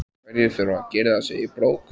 Hverjir þurfa að girða sig í brók?